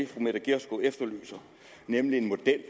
fru mette gjerskov efterlyser nemlig en model